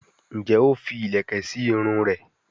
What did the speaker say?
njé o fí ilẹkẹ sí Irun rẹ?